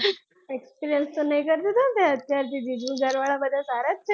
experience તો નહીં કર લીધો ને તે અત્યારથી જીજુ ને ઘરવાળાં બધાં સારા જ છે ને,